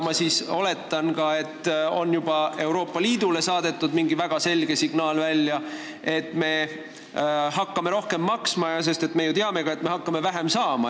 Ma oletan, et ka Euroopa Liidule on juba mingi väga selge signaal välja saadetud, et me hakkame rohkem sisse maksma, ehkki me ju teame, et me hakkame sealt vähem saama.